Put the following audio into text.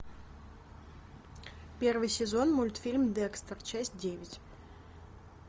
первый сезон мультфильм декстер часть девять